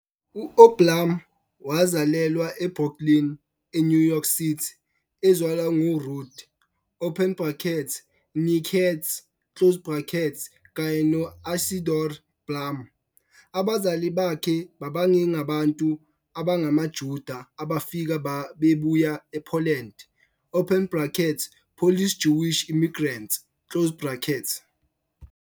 UBlum wazalelwa eBrooklyn, eNew York City, ezalwa nguRuth open brackets née Katz, kanye no-Isidore Blum, abazali bakhe babengabantu abangamaJuda abafika bebuya ePoland open brackets Polish Jewish immigrants.